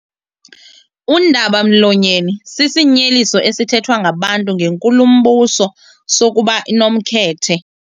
Undaba-mlonyeni sisinyeliso esithethwa ngabantu ngenkulumbuso sokuba inomkhethe.